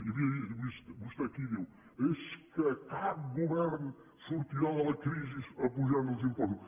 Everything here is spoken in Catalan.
i vostè aquí diu és que cap govern sortirà de la crisi apujant els impostos